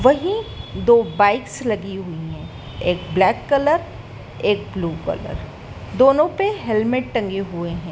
वहीं दो बाइक्स लगी हुईं हैं एक ब्लैक कलर एक ब्लू कलर दोनों पे हेलमेट टंगे हुए हैं।